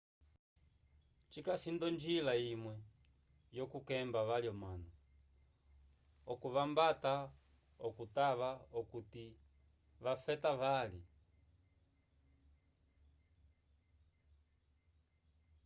cikasi nd'onjila imwe yokukemba vali omanu okuvambata okutava okuti te vafeta vali